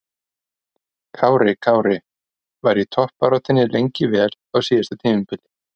Kári Kári var í toppbaráttunni lengi vel á síðasta tímabili.